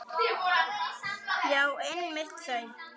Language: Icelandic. Já, einmitt þau!